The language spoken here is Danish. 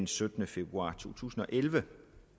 syttende februar 2011